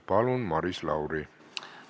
Palun, Maris Lauri!